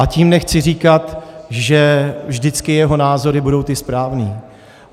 A tím nechci říkat, že vždycky jeho názory budou ty správné.